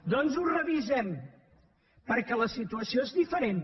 doncs ho revisem perquè la situació és diferent